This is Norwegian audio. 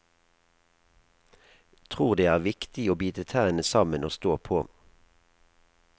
Tror det er viktig å bite tennene sammen og stå på.